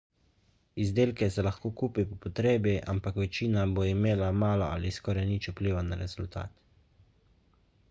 izdelke se lahko kupi po potrebi ampak večina bo imela malo ali skoraj nič vpliva na rezultat